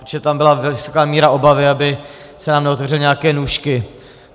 Protože tam byla vysoká míra obavy, aby se nám neotevřely nějaké nůžky.